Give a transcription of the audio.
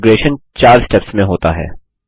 configuration चार steps में होता है